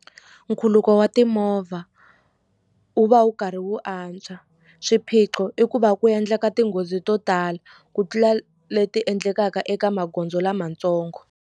Nkhuluko wa timovha wu va wu karhi wu antswa swiphiqo i ku va ku endleka tinghozi to tala ku tlula leti endlekaka eka magondzo lamatsongo.